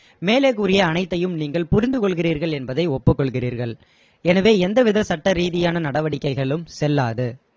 மேலே கூறிய அனைத்தையும் நீங்கள் புரிந்து கொள்கிறீர்கள் என்பதை ஒப்புகொள்கிறீர்கள் எனவே எந்த வித சட்டரீதியான நடவடிக்கைகளும் செல்லாது.